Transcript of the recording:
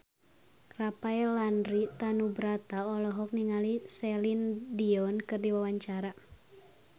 Rafael Landry Tanubrata olohok ningali Celine Dion keur diwawancara